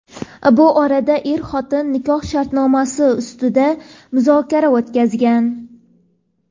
Bu orada er-xotin nikoh shartnomasi ustida muzokara o‘tkazgan.